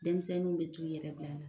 Denmisɛnninw bɛ tuu yɛrɛ bila la.